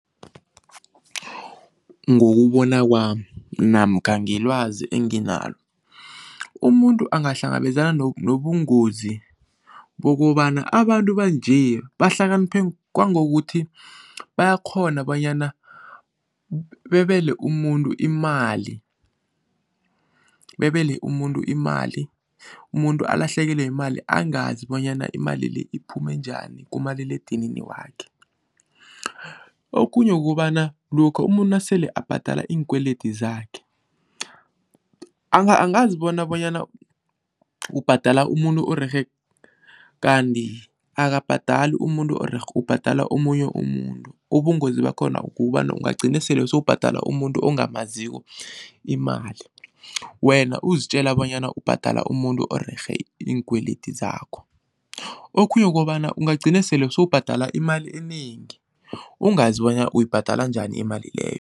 Ngokubona kwami namkha ngelwazi enginalo, umuntu angahlangabezana nobungozi bokobana abantu banje bahlakaniphe kwangokuthi bayakghona bonyana bebele umuntu imali, bebele umuntu imali. Umuntu alahlekelwe yimali angazi bonyana imali le iphume njani kumaliledinini wakhe. Okhunye kukobana lokha umuntu nasele abhadala iinkwelede zakhe angazibona bonyana ubhadala umuntu orerhe kanti akabhadali umuntu orerhe ubhadala omunye umuntu, ubungozi bakhona kukobana ungagcina sele sewubhadala umuntu ongamaziko imali, wena uzitjela bonyana ubhadala umuntu orerhe iinkweledi zakho. Okhunye kukobana ungagcina sele sewubhadala imali enengi ungazi bonyana uyibhadala njani imali leyo.